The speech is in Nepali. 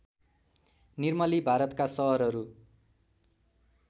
निर्मली भारतका सहरहरू